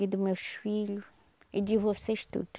e dos meus filhos e de vocês todos.